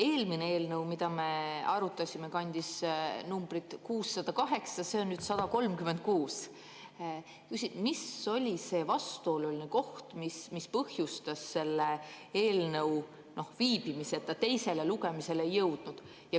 Eelmine eelnõu, mida me arutasime, kandis numbrit 608, see on nüüd 136. Mis oli see vastuoluline koht, mis põhjustas selle eelnõu viibimise, et ta teisele lugemisele ei jõudnud?